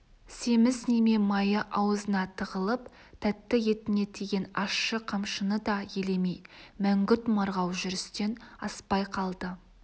семіз неме майы аузына тығылып тәтті етіне тиген ащы қамшыны да елемей мәңгүрт марғау жүрістен аспай қалды